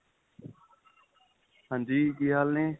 ਹਾਂਜੀ ਕੀ ਹਾਲ ਏ